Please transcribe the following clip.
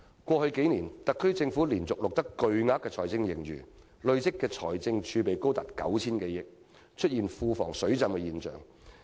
過去數年，特區政府連續錄得巨額財政盈餘，累積的財政儲備高達 9,000 多億元，出現庫房"水浸"的情況。